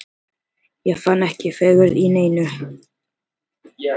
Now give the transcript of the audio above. Ég fann ekki fegurð í neinu!